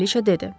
Kraliçə dedi.